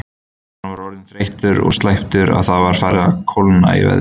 Hann var orðinn þreyttur og slæptur og það var farið að kólna í veðri.